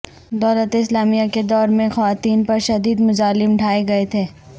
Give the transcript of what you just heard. دولت اسلامیہ کے دور میں خواتین پر شدید مظالم ڈھائے گئے تھے